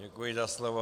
Děkuji za slovo.